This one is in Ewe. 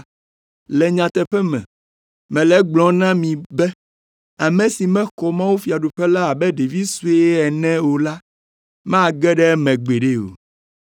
Le nyateƒe me, mele gblɔm na mi be ame si maxɔ mawufiaɖuƒe la abe ɖevi sue ene o la mage ɖe eme gbeɖe o.”